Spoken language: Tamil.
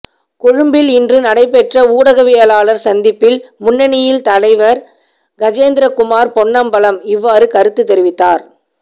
கொழும்பில் இன்று நடைபெற்ற ஊடகவியலாளர் சந்திப்பில் முன்னணியின் தலைவர் கஜேந்திரகுமார் பொன்னம்பலம் இவ்வாறு கருத்துத் தெரிவித்தார்